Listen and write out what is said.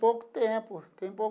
Pouco tempo tem pouco.